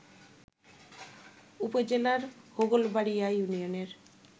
উপজেলার হোগলবাড়ীয়া ইউনিয়নের